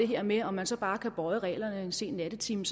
her med om man så bare kan bøje reglerne en sen nattetime